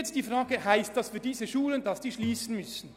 Jetzt zur Frage, ob diese Schulen dann schliessen müssten.